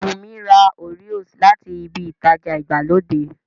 Wùnmí ra Oreos láti ibi ìtajà ìgbàlódé